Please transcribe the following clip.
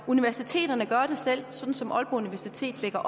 universiteterne gøre det selv sådan som aalborg universitet lægger